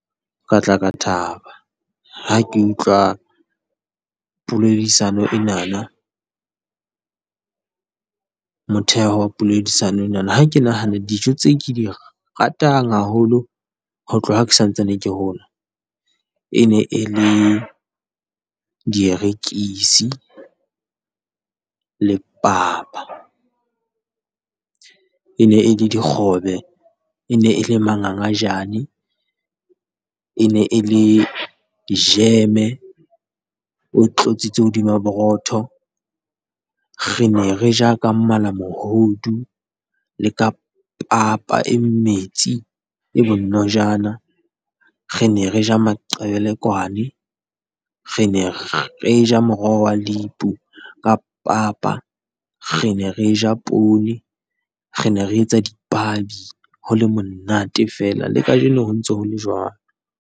Ka tla ka thaba ha ke utlwa poledisano enana, motheo wa poledisano ena ha ke nahana dijo tseo ke di ratang haholo ho tloha ke sa ntsane ke hola, e ne e le dierekisi le papa. e ne e le dikgobe, e ne e le mangangajane, e ne e le jeme, o tlotsitse hodima borotho. Re ne re ja ka malamohodu le ka papa e metsi e bonojana, re ne re ja maqebekwane, re ne re ja moroho wa lepu ka papa, re ne re ja poone, re ne re etsa dipabi, ho le monate fela. Le kajeno ho ntse ho le jwalo.